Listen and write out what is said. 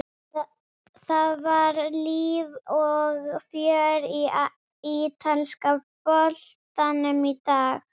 Það var líf og fjör í ítalska boltanum í dag.